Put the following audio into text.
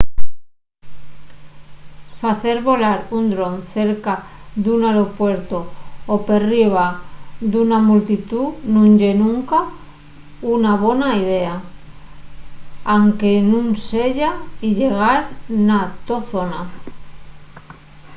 facer volar un dron cerca d’un aeropuertu o perriba d’una multitú nun ye nunca una bona idea anque nun seya illegal na to zona